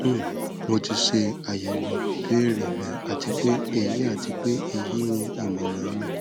um mo ti ṣe ayẹwo ibeere rẹ ati pe eyi ati pe eyi ni imọran mi